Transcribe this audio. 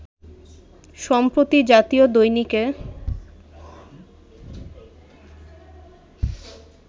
সম্প্রতি জাতীয় দৈনিকে